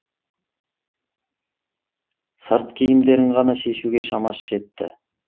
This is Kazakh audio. сырт киімдерін ғана шешуге шамасы жетті